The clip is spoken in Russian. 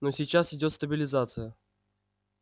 но сейчас идёт стабилизация